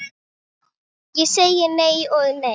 Sagan er þó ekki öll.